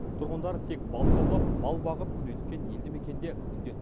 тұрғындары тек балық аулап мал бағып күнелткен елді мекенде бүгінде